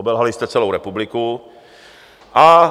Obelhali jste celou republiku a